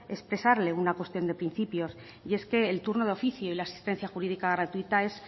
expresarle una cuestión de principios y es que el turno de oficio y la asistencia jurídica gratuita es